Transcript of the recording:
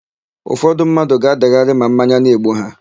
Ụfọdụ mmadụ ga-adagharị ma mmanya na-egbu ha.